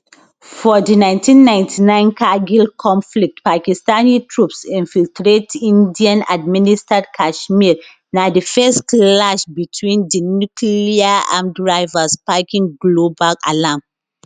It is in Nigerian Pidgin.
for di 1999 kargil conflict pakistani troops infiltrate indianadministered kashmir na di first clash betwin di nucleararmed rivals sparking global alarm